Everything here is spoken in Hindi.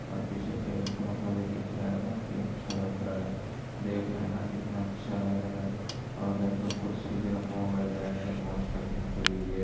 ओर पीछे पेड़ पौधे भी दिख रहा है। बहुत ही अच्छा लग रहा है। देखने मे कितना अच्छा लग रहा है। ओर दो कुर्सी भी रखा हुआ है। बेटके मौज़ करने के लिए।